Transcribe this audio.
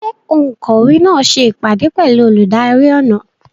Ṣé òǹkọ̀wé náà ṣe ìpàdé pẹ̀lú olùdarí ọnà?